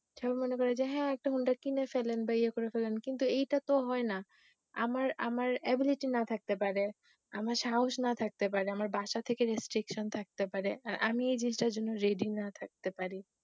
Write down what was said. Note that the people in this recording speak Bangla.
সবাই মনে করে যে হা একটা হোন্ডা কিনে ফেলেন বা যেই করে ফেলেন কিন্তু এটা তো হয়না আমার ability না থাকতে পারে আমার সাহস না থাকতে পারে আমার বাসা থেকে restriction থাকতে পারে আর আমি ই জিনিসটার জন্য ready না থাকতে পারি